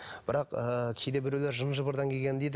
бірақ ыыы кейде біреулер жын жыбырдан келген дейді